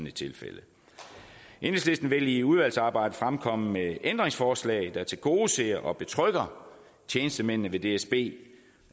et tilfælde enhedslisten vil i udvalgsarbejdet fremkomme med ændringsforslag der tilgodeser og betrygger tjenestemændene ved dsb